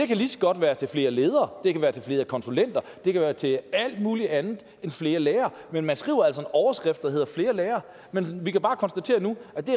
kan lige så godt være til flere ledere det kan være til flere konsulenter det kan være til alt mulig andet end flere lærere men man skriver altså en overskrift der heder flere lærere vi kan bare konstatere nu at det